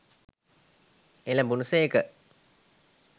එළඹුණ සේක.